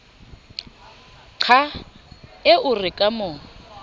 qha eo re ka mo